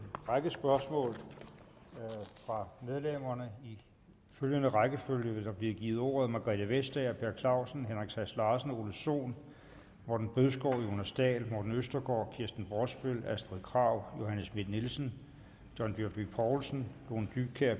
række spørgsmål fra medlemmerne i følgende rækkefølge vil de få ordet margrethe vestager per clausen henrik sass larsen ole sohn morten bødskov jonas dahl morten østergaard kirsten brosbøl astrid krag johanne schmidt nielsen john dyrby paulsen lone dybkjær